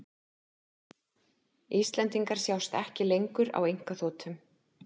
Íslendingar sjást ekki lengur á einkaþotum